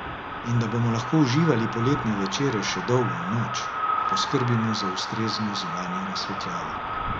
In da bomo lahko uživali poletne večere še dolgo v noč, poskrbimo za ustrezno zunanjo razsvetljavo.